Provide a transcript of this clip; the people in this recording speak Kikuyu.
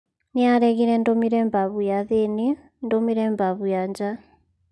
Nĩaregire ndũmĩre babu ya thĩinĩ ndũmĩre babu ya nja